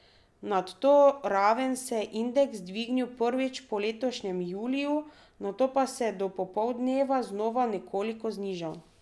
Nad to raven se je indeks dvignil prvič po letošnjem juliju, nato pa se do popoldneva znova nekoliko znižal.